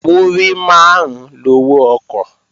Múrí máàrún lowó ọkọ̀